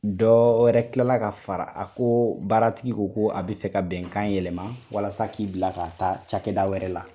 Dɔw wɛrɛ tilala ka fara a ko baaratigi ko ko a bɛ fɛ ka bɛnkan yɛlɛma, walasa k'i bila ka ta cakɛda wɛrɛ la